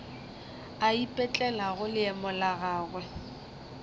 a ipetlelago leemo la gagwe